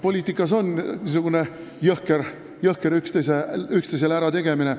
Poliitikas käibki niisugune jõhker üksteisele ärategemine.